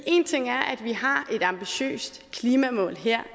en ting er at vi har et ambitiøst klimamål her